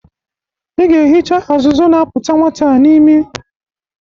Ị ga-ehicha azụzụ na-apụta nwata a n'ime.